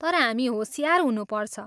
तर हामी होसियार हुनुपर्छ।